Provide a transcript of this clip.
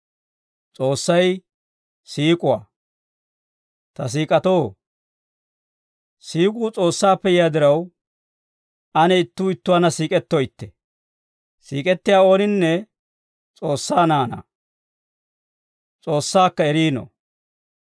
Ta siik'atoo, siik'uu S'oossaappe yiyaa diraw, ane ittuu ittuwaanna siik'ettoytte. Siik'ettiyaa ooninne S'oossaa naanaa; S'oossaakka eriino.